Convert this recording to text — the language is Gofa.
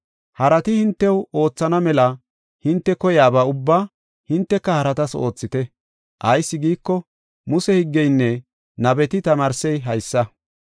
Harati hintew oothana mela hinte koyaba ubbaa hinteka haratas oothite. Ayis giiko, Muse higgeynne nabeti tamaarsey haysa.